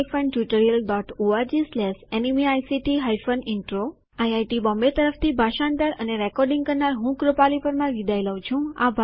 httpspoken tutorialorgNMEICT Intro IIT Bombay તરફથી ભાષાંતર અને રેકોર્ડીંગ કરનાર હું કૃપાલી પરમાર વિદાય લઉં છું